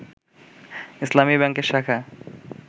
ইসলামী ব্যাংকের শাখা